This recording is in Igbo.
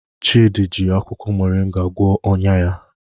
Chidi ji akwukwo moringa gwọọ ọnya ya.